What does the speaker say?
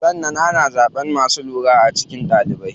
Sannan ana zaɓan masu lura a cikin ɗalibai.